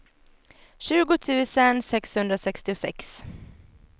tjugo tusen sexhundrasextiosex